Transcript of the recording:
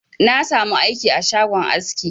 Na sa mu aiki a shagon aski